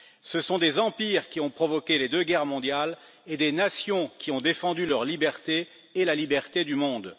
Ce sont des empires qui ont provoqué les deux guerres mondiales et des nations qui ont défendu leur liberté et la liberté du monde.